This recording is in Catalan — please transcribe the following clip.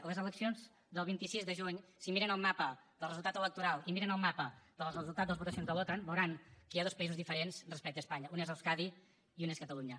a les eleccions del vint sis de juny si miren el mapa del resultat electoral i miren el mapa del resultat de les votacions de l’otan veuran que hi ha dos països diferents respecte a espanya un és euskadi i un és catalunya